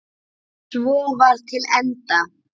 Svo var til enda.